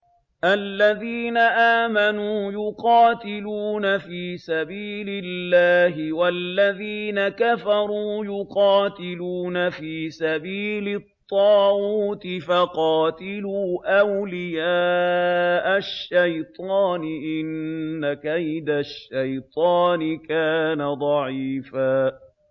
الَّذِينَ آمَنُوا يُقَاتِلُونَ فِي سَبِيلِ اللَّهِ ۖ وَالَّذِينَ كَفَرُوا يُقَاتِلُونَ فِي سَبِيلِ الطَّاغُوتِ فَقَاتِلُوا أَوْلِيَاءَ الشَّيْطَانِ ۖ إِنَّ كَيْدَ الشَّيْطَانِ كَانَ ضَعِيفًا